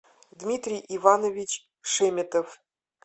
дмитрий иванович шеметов